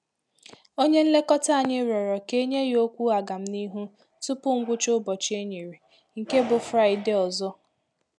Onye nlekọta anyị rịọrọ ka enye ya okwu aga m n'ihu tupu ngwụcha ụbọchị e nyere, nke bụ fraịdee ọzọ